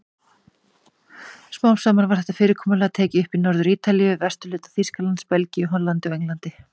Smám saman var þetta fyrirkomulag tekið upp í Norður-Ítalíu, vesturhluta Þýskalands, Belgíu, Hollandi og Englandi.